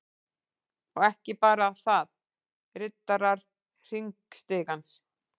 Og ekki bara þaðRiddarar_hringstigans